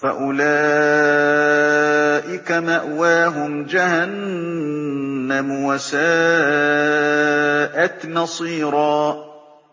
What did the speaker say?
فَأُولَٰئِكَ مَأْوَاهُمْ جَهَنَّمُ ۖ وَسَاءَتْ مَصِيرًا